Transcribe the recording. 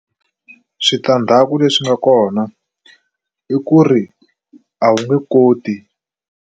Switandzhaku leswi nga kona i ku ri a wu nge koti.